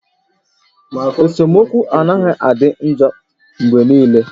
Esemokwu anaghị adị njọ mgbe niile